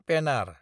Penner